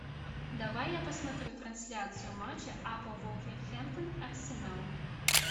давай я посмотрю трансляцию матча апл вулверхэмптон арсенал